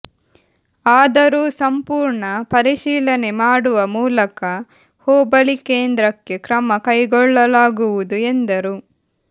ಆದರೂ ಸಂಪೂರ್ಣ ಪರಿಶೀಲನೆಮಾಡುವ ಮೂಲಕ ಹೋಬಳಿ ಕೇಂದ್ರಕ್ಕೆ ಕ್ರಮ ಕೈಗೊಳ್ಳಲಾಗುವುದು ಎಂದರು